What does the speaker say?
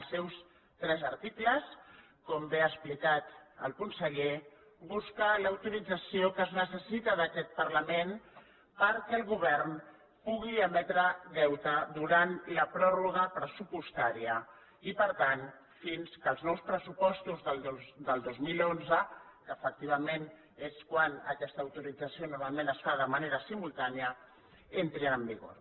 els seus tres articles com bé ha explicat el conseller busquen l’autorització que es necessita d’aquest parlament perquè el govern pugui emetre deute durant la pròrroga pressupostària i per tant fins que els nous pressupostos del dos mil onze que efectivament és quan aquesta autorització normalment es fa de manera simultània entrin en vigor